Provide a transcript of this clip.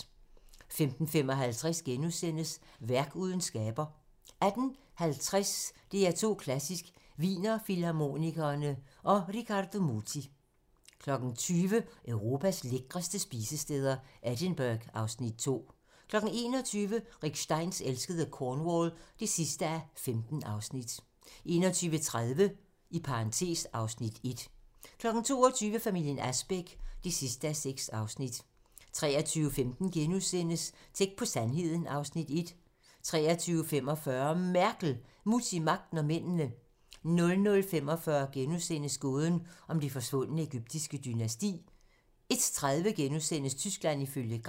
15:55: Værk uden skaber * 18:50: DR2 Klassisk: Wiener Filharmonikerne & Riccardo Muti 20:00: Europas lækreste spisesteder - Edinburgh (Afs. 2) 21:00: Rick Steins elskede Cornwall (15:15) 21:30: (Afs. 1) 22:00: Familien Asbæk (6:6) 23:15: Tæt på sandheden (Afs. 1)* 23:45: MERKEL – Mutti, Magten & Mændene 00:45: Gåden om det forsvundne egyptiske dynasti * 01:30: Tyskland ifølge Gram *